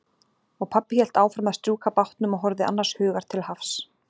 Og pabbi hélt áfram að strjúka bátnum og horfði annars hugar til hafs.